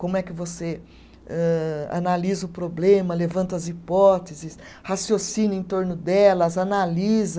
Como é que você âh, analisa o problema, levanta as hipóteses, raciocina em torno delas, analisa